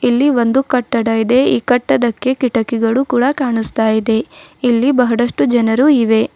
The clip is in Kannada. ಇಲ್ಲಿ ಒಂದು ಕಟ್ಟಡ ಇದೆ ಈ ಕಟ್ಟಡಕ್ಕೆ ಕಿಟಕಿಗಳು ಕೂಡ ಕಾಣಿಸ್ತಾಯಿದೆ ಇಲ್ಲಿ ಬಹಳಷ್ಟು ಜನರು ಇವೆ.